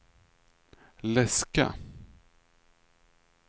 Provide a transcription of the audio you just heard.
läska